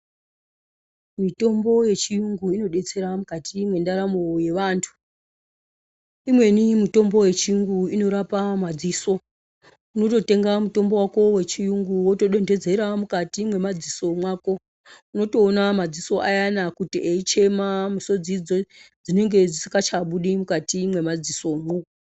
Mitombo yechiyungu inodetsera mukati mwendaramo yevantu. Imweni mitombo yechiyungu inorapa madziso, unototenga mutombo wako wechiyungu woto donhedzera mukati mwemadziso mwako unotoona madziso ayana kuti eichema misodzi dzinenge dzisinga chabudi mukati mwemadziso mwo.